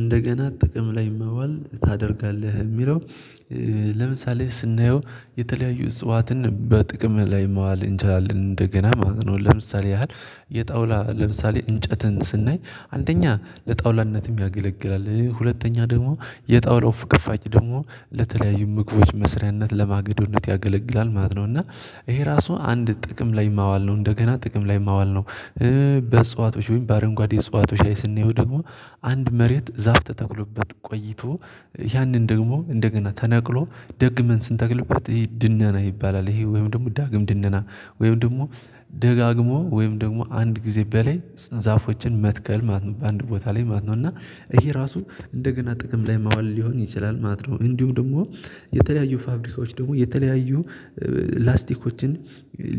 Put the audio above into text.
እንደገና ጥቅም ላይ መዋል ታደርጋለህ የሚለው? ለምሳሌ ስናየው የተለያዩ እጽዋትን በጥቅም ላይ ማዋል እንችላለን እንደገና ማለት ነው። ለምሳሌ ያህል የጣውላ ለምሳሌ እንጨትን ስናይ አንደኛ ለጣውላነትም ያገለግላል ሁለተኛ ደግሞ የጣውላው ፍቅፋቂ ደግሞ ለተለያዩ ምግቦች መስሪያነት ለማገዶነት ያገለግላል ማለት ነው። እና ይሄ ራሱ አንድ ጥቅም ላይ ማዋል ነው እንደገና ጥቅም ላይ ማዋል ነው። በእጽዋቶች በአረንጓዴ እጽዋቶች ላይ ስንየው ደግሞ አንድ መሬት ዛፍ ተተክሎበት ቆይቶ ያንን ደግሞ እንደገና ተነቅሎ ደግመን ስንተክልበት ይሄ ድነና ይባላል ይሄ ወይም ደግሞ ዳግም ድነና። ወይም ደግሞ ደጋግሞ ወይም ደግሞ አንድ ጊዜ በላይ ዛፎችን መትከል ማለት ነው። በአንድ ቦታ ላይ ማለት ነው እና ይሄ ራሱ እንደገና ጥቅም ላይ ማዋል ሊሆን ይችላል ማለት ነው። እንዲሁም ደግሞ የተለያዩ ፋብሪካዎች ደግሞ የተለያዩ ላስቲኮችን